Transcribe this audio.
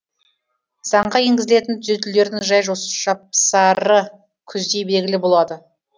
заңға енгізілетін түзетулердің жай жапсары күзде белгілі болады